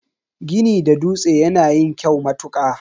Gini da dutse yana yin kyau matuka.